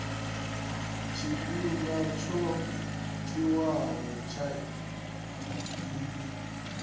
tshifhinga tsho tiwaho tsha iyi